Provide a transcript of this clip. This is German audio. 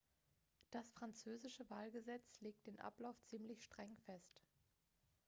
das französische wahlgesetz legt den ablauf ziemlich streng fest